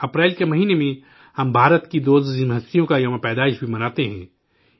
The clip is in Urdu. اپریل کے مہینہ میں ہم بھارت کی دو عظیم شخصیات کی جینتی بھی مناتے ہیں